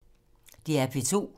DR P2